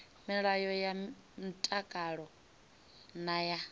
milayo ya mtakalo na ya